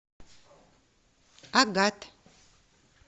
агат